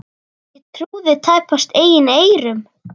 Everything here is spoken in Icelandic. Ég trúði tæpast eigin eyrum.